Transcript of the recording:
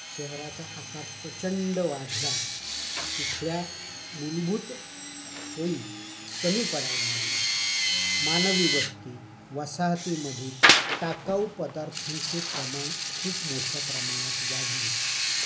शहराचा आकार प्रचंड वाढला. तिथल्या मूलभूत सोयी कमी पडायला लागल्या. मानवी वस्ती वसाहतीमध्ये टाकावू पदार्थांचे प्रमाण खूप मोठ्या प्रमाणात वाढले.